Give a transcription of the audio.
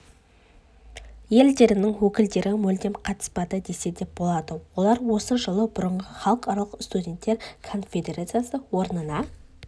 елдерінің өкілдері мүлдем қатыспады десе де болады олар осы жылы бұрынғы халықаралық студенттер конфедерациясы орнына